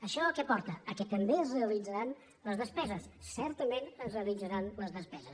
això a què porta que també es realitzaran les despeses certament es rea· litzaran les despeses